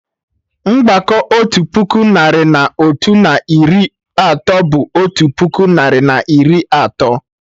Mgbakọ otu puku narị na otu, na iri atọ bụ otu puku narị na iri atọ